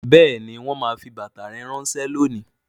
Bẹẹni, wọn máa fi bàtà rẹ ránsẹ́ lónìí